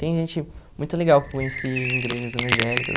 Tem gente muito legal que eu conheci em igrejas evangélicas.